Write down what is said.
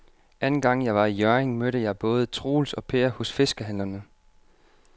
Anden gang jeg var i Hjørring, mødte jeg både Troels og Per hos fiskehandlerne.